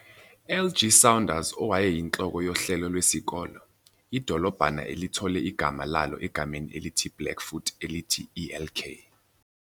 LG Saunders owayeyinhloko yohlelo lwesikole. Idolobhana lithole igama lalo egameni elithi Blackfoot elithi Elk.